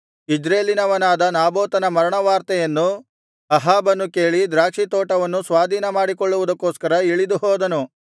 ಇಜ್ರೇಲಿನವನಾದ ನಾಬೋತನ ಮರಣವಾರ್ತೆಯನ್ನು ಅಹಾಬನು ಕೇಳಿ ದ್ರಾಕ್ಷಿ ತೋಟವನ್ನು ಸ್ವಾಧೀನಮಾಡಿಕೊಳ್ಳುವುದಕ್ಕೋಸ್ಕರ ಇಳಿದು ಹೋದನು